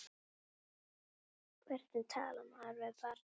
Hvernig talar maður við barn?